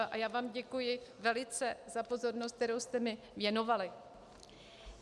A já vám děkuji velice za pozornost, kterou jste mi věnovali.